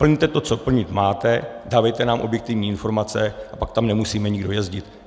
Plňte to, co plnit máte, dávejte nám objektivní informace, a pak tam nemusíme nikdo jezdit.